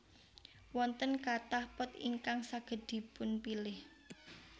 Wonten kathah pot ingkang saged dipunpilih